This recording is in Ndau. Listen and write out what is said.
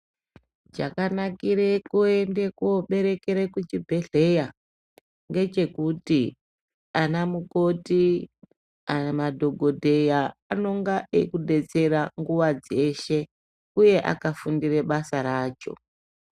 Chakanakire kuende kobererekere kuchibhedhlera ngechekuti anamukoti madhokodheya anenge eikudetsera nguva dzeshe uye akafundira basa racho.